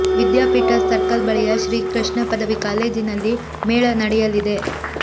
ವಿದ್ಯಾಪೀಠ circle ಬಳಿಯ ಶ್ರೀ ಕೃಷ್ಣ ಪದವಿ ಕಾಲೇಜಿನಲ್ಲಿ ಮೇಳ ನಡೆಯಲಿದೆ